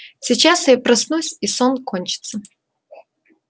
сейчас я проснусь и сон кончится